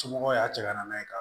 Somɔgɔw y'a cɛ ka na n'a ye ka